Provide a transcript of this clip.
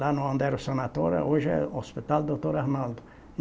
Lá no onde era o Sanatório, hoje é o Hospital Doutor Arnaldo.